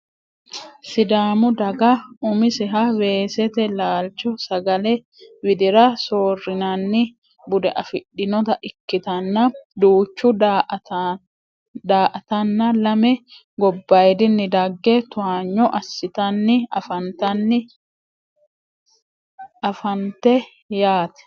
sidaamu daga umiseha weesete laalcho sagalee widira soorrinanni bude afidhinota ikkitanna duuchu daa"attana lame gobbayiidinni dagge towaanyo assitanna anafannite yaate